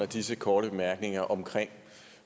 disse korte bemærkninger om